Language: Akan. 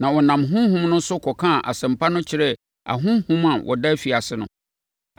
na ɔnam honhom no so kɔkaa Asɛmpa no kyerɛɛ ahonhom a wɔda afiase no.